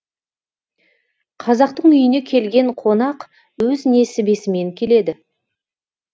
қазақтың үйіне келген қонақ өз несібесімен келеді